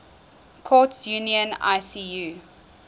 courts union icu